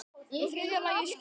Í þriðja lagi skyldi